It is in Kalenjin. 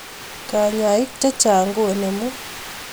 Kanyaich chechang koinemuu